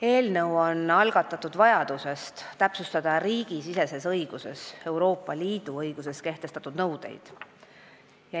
Eelnõu on algatatud vajadusest täpsustada riigisiseses õiguses Euroopa Liidu õiguses kehtestatud nõudeid.